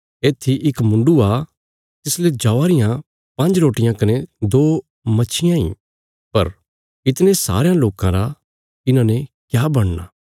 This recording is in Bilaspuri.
येत्थी इक मुण्डु आ तिसले जौआ रियां पांज्ज रोटियां कने दो मच्छियां इ पर इतणे सारेयां लोकां रा इन्हांने क्या बणना